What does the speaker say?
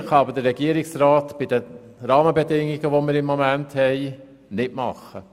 Mehr kann aber der Regierungsrat, unter den momentan bestehenden Rahmenbedingungen, nicht tun.